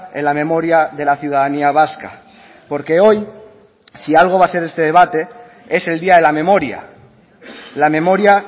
en la memoria de la ciudadanía vasca porque hoy si algo va a ser este debate es el día de la memoria la memoria